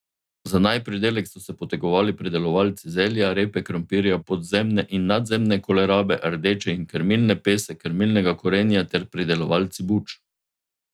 Za naj pridelek so se potegovali pridelovalci zelja, repe, krompirja, podzemne in nadzemne kolerabe, rdeče in krmilne pese, krmilnega korenja ter pridelovalci buč.